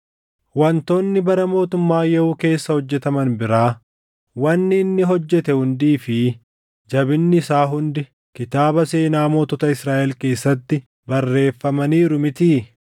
Wantoonni bara mootummaa Yehuu keessa hojjetaman biraa, wanni inni hojjete hundii fi jabinni isaa hundi kitaaba seenaa mootota Israaʼel keessatti barreeffamaniiru mitii?